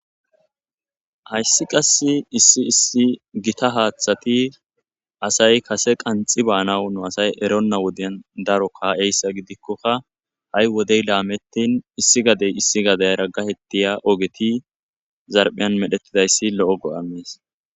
Hayssi qass issi issi gita haaththati asay kase qanxxi baanawu nu asay eronna wodeyan daro ka'eyssa gidikkokka ha'i wodey laamettin issi gadey issi gadey gahettiya ogeti zarphiyan medhettidayssi lo'o go'a mees.